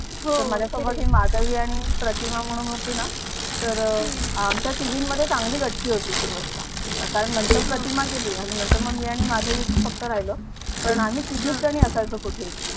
तर आमच्या तिघींमध्ये चांगली गट्टी होती सुरुवातीला कारण नंतर प्रतिमा गेली आणि नंतर मग मी आणि माधवी च फक्त राहिलो पण आम्ही तिघीजणी असायचं कुठे ही